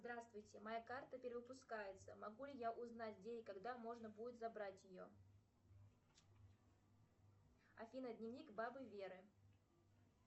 здравствуйте моя карта перевыпускается могу ли я узнать где и когда можно будет забрать ее афина дневник бабы веры